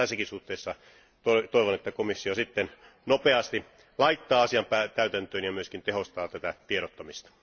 Tässäkin suhteessa toivon, että komissio sitten nopeasti laittaa asian täytäntöön ja myöskin tehostaa tätä tiedottamista.